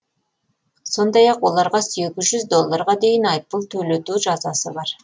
сондай ақ оларға сегіз жүз долларға дейін айыппұл төлету жазасы бар